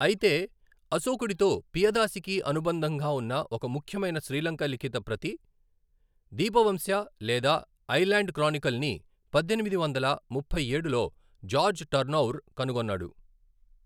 అయితే, అశోకుడితో పియదాసికి అనుబంధంగా ఉన్న ఒక ముఖ్యమైన శ్రీలంక లిఖిత ప్రతి, దీపవంశ, లేదా 'ఐలాండ్ క్రానికల్' ని పద్దెనిమిది వందల ముప్పై ఏడులో జార్జ్ టర్నౌర్ కనుగొన్నాడు.